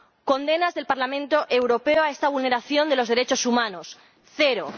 Condenas del Parlamento Europeo a esta vulneración de los derechos humanos cero.